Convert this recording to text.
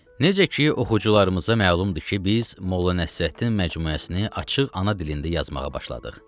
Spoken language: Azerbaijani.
Necə ki, oxucularımıza məlumdur ki, biz Molla Nəsrəddin məcmuəsini açıq ana dilində yazmağa başladıq.